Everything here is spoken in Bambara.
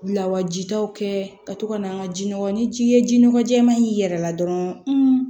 Lawajitaw kɛ ka to ka na an ka jiɔgɔ ni ji ye ji nɔgɔ jɛɛma in yɛrɛ la dɔrɔn